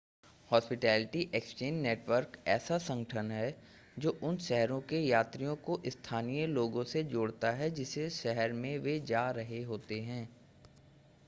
hospitality exchange network ऐसा संगठन है जो उन शहरों में यात्रियों को स्थानीय लोगों से जोड़ता है जिस शहर में वे जा रहे होते हैं